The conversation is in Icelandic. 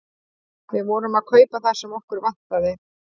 Við vorum að kaupa það sem okkur vantaði.